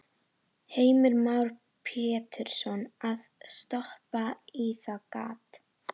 Heimir Már Pétursson: Að stoppa í það gat?